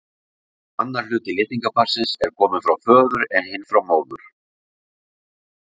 Annar hluti litningaparsins er kominn frá föður en hinn frá móður.